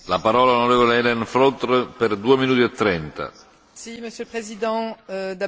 Monsieur le Président, d'abord bienvenue et félicitations à vous, Monsieur le Commissaire Füle.